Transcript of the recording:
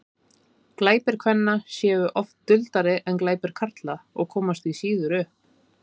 glæpir kvenna séu oft duldari en glæpir karla og komast því síður upp